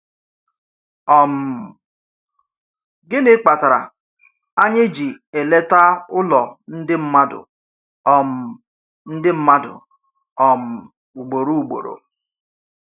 um Gịnị kpatara anyị ji eleta ụlọ ndị mmadụ um ndị mmadụ um ugboro ugboro?